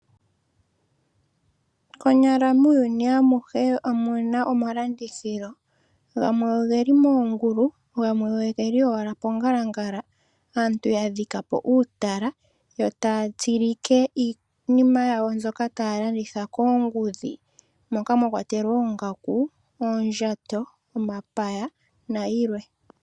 Konyala muuyuni awuhe omuna omalandithilo, gamwe ogeli moongulu, gamwe ogeli owala pongalangala aantu ya dhika po uutala, wo taya tsilike iinima yawo mbyoka taya landitha koongudhi moka mwa kwatelwa oongaku, oondjato, omapaya nayilwe.